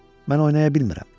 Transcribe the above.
Mən oynaya bilmirəm.